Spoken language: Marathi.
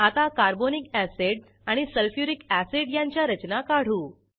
आता कार्बोनिक अॅसिड आणि सल्फ्युरिक अॅसिड यांच्या रचना काढू